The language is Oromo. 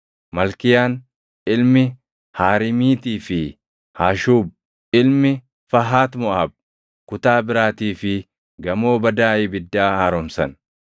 Malkiyaan ilmi Haariimiitii fi Hashuub ilmi Fahat Moʼaab kutaa biraatii fi Gamoo Badaa Ibiddaa haaromsan.